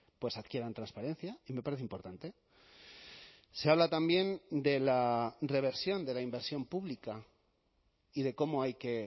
pues adquieran transparencia y me parece importante se habla también de la reversión de la inversión pública y de cómo hay que